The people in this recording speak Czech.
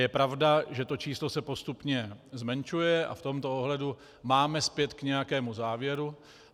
Je pravda, že to číslo se postupně zmenšuje, a v tomto ohledu máme spět k nějakému závěru.